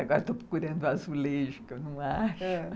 Agora estou procurando o azulejo, que eu não acho.